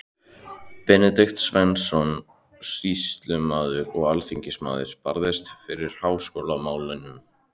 Benedikt Sveinsson, sýslumaður og alþingismaður, barðist fyrir háskólamálinu.